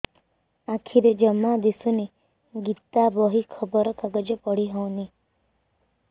ଆଖିରେ ଜମା ଦୁଶୁନି ଗୀତା ବହି ଖବର କାଗଜ ପଢି ହଉନି